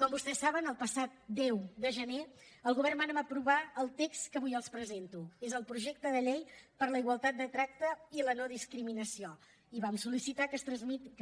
com vostès saben el passat deu de gener el govern vàrem aprovar el text que avui els presento és el projecte de llei per a la igualtat de tracte i la no discriminació i vam sol·licitar que